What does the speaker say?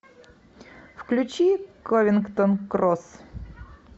включи ковингтон кросс